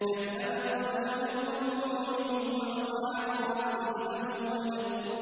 كَذَّبَتْ قَبْلَهُمْ قَوْمُ نُوحٍ وَأَصْحَابُ الرَّسِّ وَثَمُودُ